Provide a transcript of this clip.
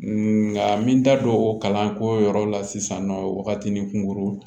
Nka n bɛ n da don o kalanko yɔrɔ la sisan nɔ wagati ni kunko